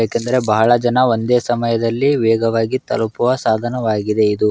ಏಕೆಂದರೆ ಬಹಳ ಜನ ಒಂದೇ ಸಮಯದಲ್ಲಿ ವೇಗವಾಗಿ ತಲುಪುವ ಸಾಧನವಾಗಿದೆ ಇದು.